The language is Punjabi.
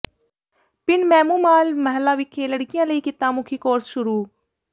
ਪਿੰਡ ਮਹਿੰਮੂਵਾਲ ਮਾਹਲਾ ਵਿਖੇ ਲੜਕੀਆਂ ਲਈ ਕਿੱਤਾ ਮੁਖੀ ਕੋਰਸ ਸ਼ੁਰੂ